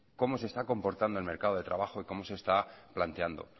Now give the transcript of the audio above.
cómo se está comportando el mercado de trabajo y cómo se está planteando